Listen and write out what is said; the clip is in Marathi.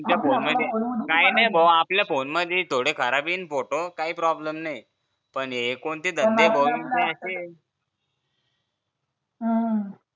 तुमच्या फोन मध्ये नाही नाही भो आपल्या फोन मधी थोडे खराब येतील फोटो पण काय problem नाही पण हे कोणते धंदे बॉ यांचे असे